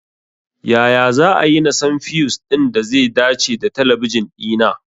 Ya za'ayi na san fiyus ɗin da ze dace da talabijin ɗina?